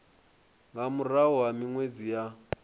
nga murahu ha minwedzi ya